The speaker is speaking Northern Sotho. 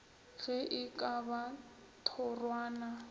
ge e ka ba thorwana